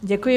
Děkuji.